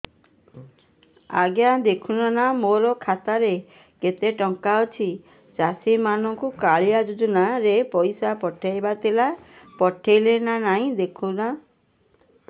ଆଜ୍ଞା ଦେଖୁନ ନା ମୋର ଖାତାରେ କେତେ ଟଙ୍କା ଅଛି ଚାଷୀ ମାନଙ୍କୁ କାଳିଆ ଯୁଜୁନା ରେ ପଇସା ପଠେଇବାର ଥିଲା ପଠେଇଲା ନା ନାଇଁ ଦେଖୁନ ତ